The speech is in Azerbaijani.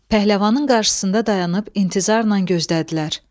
Pəhləvanın qarşısında dayanıb intizarla gözlədilər.